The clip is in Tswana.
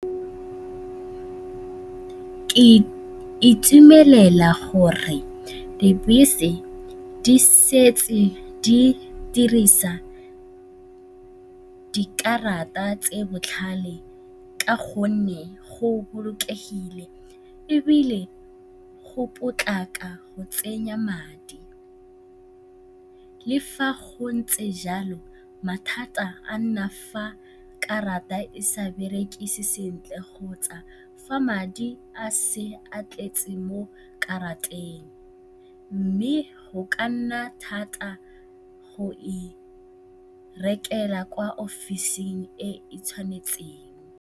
Ke itumelela gore dibese di setse di dirisa dikarata tse di botlhale ka gonne go bolokegile ebile go potlako go tsenya madi. Le fa go ntse jalo, mathata a nna fa karata e sa bereke sentle kgotsa fa madi a se a tletse mo karateng mme go ka nna thata go e rekela kwa ofising e e tshwanetseng.